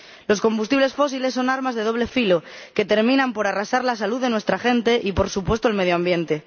Los combustibles fósiles son armas de doble filo, que terminan por arrasar la salud de nuestra gente y, por supuesto, el medio ambiente.